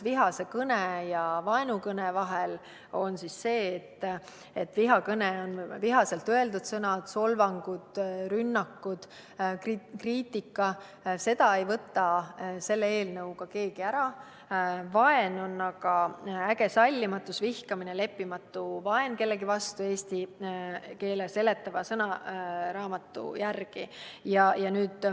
Vihase kõne ja vaenukõne vahe on see, et vihakõne on vihaselt öeldud sõnad, solvangud, rünnakud, kriitika – seda õigust ei võta selle eelnõuga keegi ära –, vaen on aga eesti keele seletava sõnaraamatu järgi äge sallimatus, vihkamine ja leppimatus kellegi vastu.